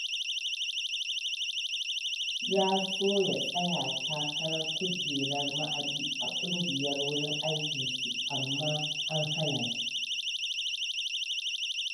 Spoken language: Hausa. Ya so ya tsaya takarar kujerar ma'aji a ƙungiyar wurin aikinsu, amma na hana shi.